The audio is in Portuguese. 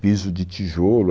Piso de tijolo.